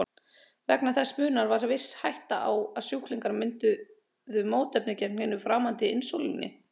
Vegna þessa munar var viss hætta á að sjúklingar mynduðu mótefni gegn hinu framandi insúlíni.